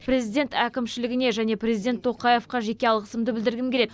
президент әкімшілігіне және президент тоқаевқа жеке алғысымды білдіргім келеді